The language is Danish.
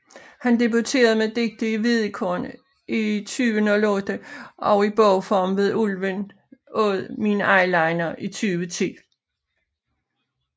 Hun debuterede med digte i Hvedekorn i 2008 og i bogform med Ulven åd min eyeliner i 2010